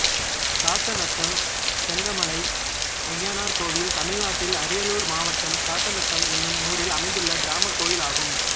சாத்தநத்தம் செங்கமலை அய்யனார் கோயில் தமிழ்நாட்டில் அரியலூர் மாவட்டம் சாத்தநத்தம் என்னும் ஊரில் அமைந்துள்ள கிராமக் கோயிலாகும்